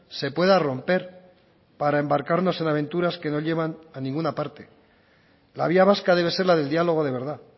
se pueda romper para embarcarnos en aventuras que no llevan a ninguna parte la vía vasca debe ser del diálogo de verdad